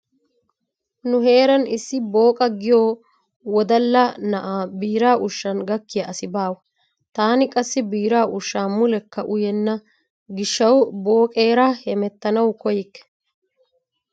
Nu heeran issi Booqa giyo wodalla na'aa biiraa ushshan gakkiya asi baawa. Taani qassi biiraa ushshaa mulekka uyenna gishshawu Booqeera hemettanawu koyyikke.